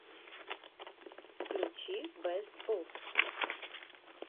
включи бэст оф